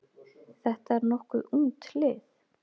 Þetta er nokkuð ungt lið.